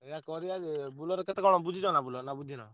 ଏୟା କରିଆ ଯେ Bolero କେତେ କଣ ବୁଝିଛ ନା Bolero ନା ବୁଝିନ?